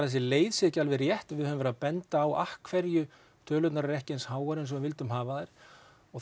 þessi leið sé ekki alveg rétt við höfum verið að benda á af hverju tölurnar eru ekki eins háar og eins og við vildum hafa þær og